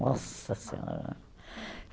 Nossa Senhora!